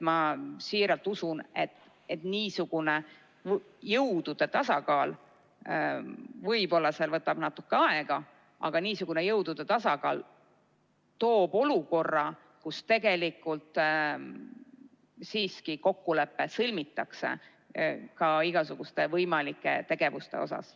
Ma siiralt usun, et kuigi see võib võtta natukene aega, loob niisugune jõudude tasakaal lõpuks olukorra, kus tegelikult siiski kokkulepe sõlmitakse, ka igasuguste võimalike tegevuste kohta.